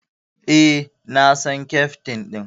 Eh, na san Keftin din.